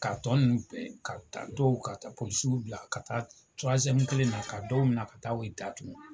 Ka tɔ nunnu ka taa dɔw ka taa bila ka taa kelen na ka dɔw minɛ ka taa u da tuku.